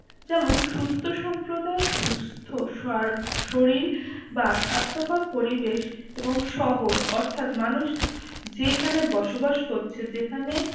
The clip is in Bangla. যেমন সুস্থ সম্প্রদায় সুস্থ শার শরীর বা স্বাস্থ্যকর পরিবেশ এবং শহর অর্থাৎ মানুষ যেখানে বসবাস করছে যেখানে